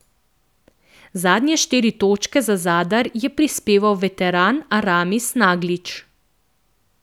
Zadnje štiri točke za Zadar je prispeval veteran Aramis Naglić.